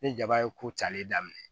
Ni jaba ye ko cari daminɛ